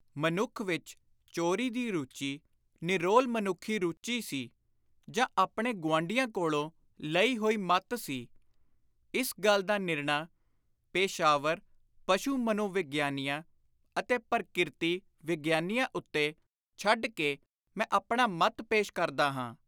ਮਨੁੱਖ ਵਿਚ ਚੋਰੀ ਦੀ ਰੁਚੀ ਨਿਰੋਲ ਮਨੁੱਖੀ ਰੁਚੀ ਸੀ ਜਾਂ ਆਪਣੇ ਗੁਆਂਢੀਆਂ ਕੋਲੋਂ ਲਈ ਹੋਈ ਮੱਤ ਸੀ, ਇਸ ਗੱਲ ਦਾ ਨਿਰਣਾ ਪੇਸ਼ਾਵਰ ਪਸ਼ੁ-ਮਨੋਵਿਗਿਆਨੀਆਂ ਅਤੇ ਪਰਕਿਰਤੀ-ਵਿਗਿਆਨੀਆਂ ਉੱਤੇ ਛੱਡ ਕੇ ਮੈਂ ਆਪਣਾ ਮੱਤ ਪੇਸ਼ ਕਰਦਾ ਹਾਂ।